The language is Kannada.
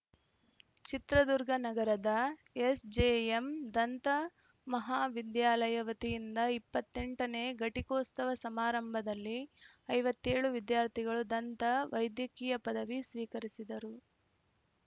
ಚಿತ್ರದುರ್ಗ ನಗರದ ಎಸ್‌ಜೆಎಂ ದಂತ ಮಹಾವಿದ್ಯಾಲಯ ವತಿಯಿಂದ ಇಪ್ಪತ್ತ್ ಎಂಟ ನೇ ಘಟಿಕೋತ್ಸವ ಸಮಾರಂಭದಲ್ಲಿ ಐವತ್ತ್ ಏಳು ವಿದ್ಯಾರ್ಥಿಗಳು ದಂತ ವೈದ್ಯಕೀಯ ಪದವಿ ಸ್ವೀಕರಿಸಿದರು